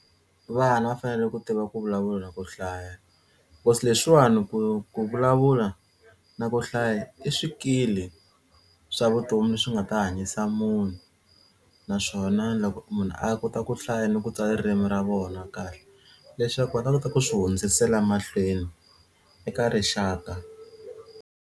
Vana va fanele ku tiva ku vulavula na ku hlaya cause leswiwani ku ku vulavula na ku hlaya i swikili swa vutomi swi nga ta hanyisa munhu naswona loko munhu a kota ku hlaya ni ku tsala ririmi ra vona kahle leswaku va ta kota ku swi hundzisela mahlweni eka rixaka.